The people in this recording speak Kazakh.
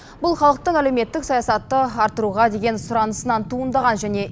бұл халықтың әлеуметтік саясатты арттыруға деген сұранысынан туындаған және